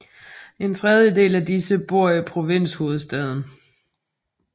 En tredjedel af disse bor i provinshovedstaden